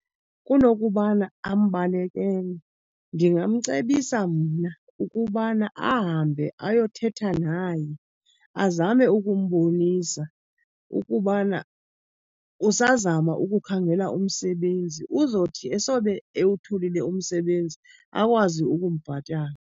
Kunokubana ambalekele, ndingamcebisa mna ukubana ahambe ayothetha naye azame ukumbonisa ukubana usazama ukukhangela umsebenzi. Uzothi esobe ewutholile umsebenzi akwazi ukumbhatala.